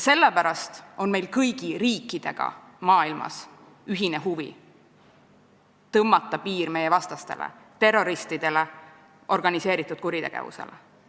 Meil on kõigi riikidega maailmas ühine huvi panna piir terrorismile, organiseeritud kuritegevusele.